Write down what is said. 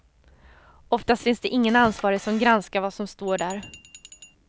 Ofta finns det ingen ansvarig som granskar vad som står där.